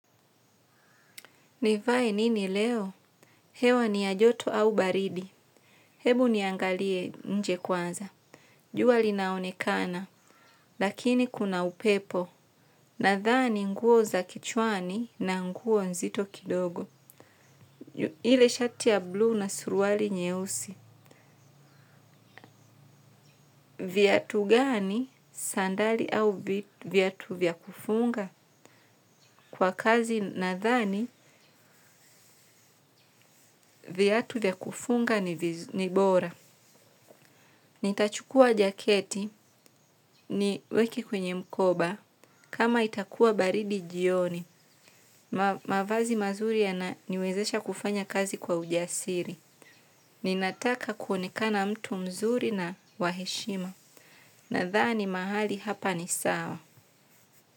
Nivae nini leo. Hewa ni yajoto au baridi. Hebu niangalie nje kwanza. Jua linaonekana lakini kuna upepo. Nathani nguo za kichwani na nguo nzito kidogo. Ile shati ya blue na suruali nyeusi. Viatu gani sandali au viatu vyakufunga kwa kazi na thani viatu vyakufunga ni bora. Nitachukua jaketi ni weke kwenye mkoba kama itakua baridi jioni. Mavazi mazuri ya naniwezesha kufanya kazi kwa ujasiri. Ninataka kuonekana mtu mzuri na waheshima nathani mahali hapa ni sawa.